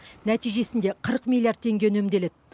нәтижесінде қырық миллиард теңге үнемделеді